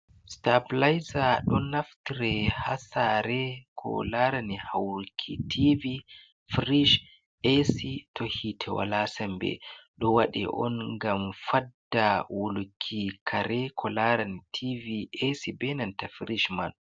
Sitabilayiza ɗon naftre ha saare ko larani hauruki tivi, firish, e'si to hiite wala sambe, ɗo waɗe on gam fadda wulki kare ko laran tivi e'si ɓe nanta firish man.